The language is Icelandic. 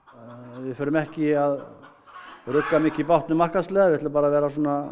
við erum ekki að rugga mikið bátnum markaðslega við ætlum bara að vera